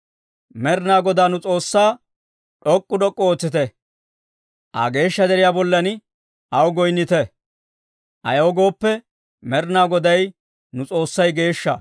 Med'inaa Godaa nu S'oossaa, d'ok'k'u d'ok'k'u ootsite; Aa geeshsha deriyaa bollan aw goyinnite; ayaw gooppe, Med'inaa Goday nu S'oossay geeshsha!